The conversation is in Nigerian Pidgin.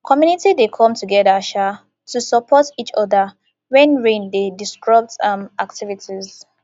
community dey come together um to support each oda wen rain dey disrupt um activities